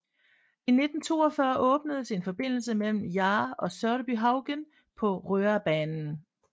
I 1942 åbnedes en forbindelse mellem Jar og Sørbyhaugen på Røabanen